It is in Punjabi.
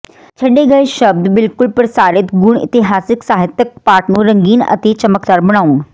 ਛੱਡੇ ਗਏ ਸ਼ਬਦ ਬਿਲਕੁਲ ਪ੍ਰਸਾਰਿਤ ਗੁਣ ਇਤਿਹਾਸਕ ਸਾਹਿਤਕ ਪਾਠ ਨੂੰ ਰੰਗੀਨ ਅਤੇ ਚਮਕਦਾਰ ਬਣਾਉਣ